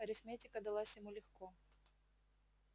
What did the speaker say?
арифметика далась ему легко